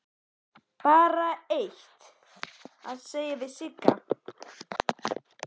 Er ekki bara eitt að segja við Sigga?